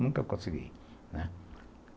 Nunca consegui, né.